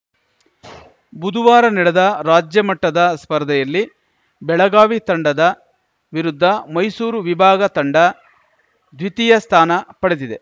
ಬುದುವಾರ ನಡೆದ ರಾಜ್ಯಮಟ್ಟದ ಸ್ಪರ್ಧೆಯಲ್ಲಿ ಬೆಳಗಾವಿ ತಂಡದ ವಿರುದ್ಧ ಮೈಸೂರು ವಿಭಾಗ ತಂಡ ದ್ವಿತೀಯ ಸ್ಥಾನ ಪಡೆದಿದೆ